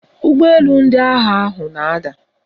Ụgbọelu ndị agha ahụ na-ada